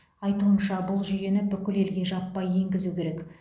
айтуынша бұл жүйені бүкіл елге жаппай енгізу керек